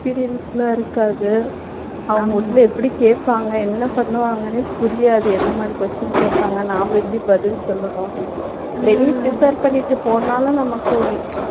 experience லாம் இருக்காது அவங்க உள்ள எப்படி கேப்பாங்க என்ன பண்ணுவாங்கன்னே புரியாது என்ன மாதிரி question கேப்பாங்க நாம எப்படி பதில் சொல்லனும் வெளிய prepare பண்ணிட்டு போனாலும் நமக்கு ஒரு